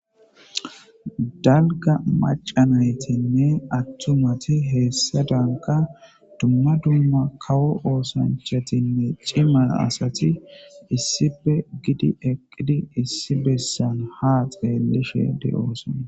Daligga macca nayitine aassati atumati hesadani duma kawo osanichotnne cima assati issppei giddi eqidi ha xelishe deyosona